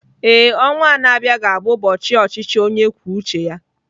Ee, ọnwa a na-abịa ga-abụ ụbọchị ọchịchị onye kwuo uche ya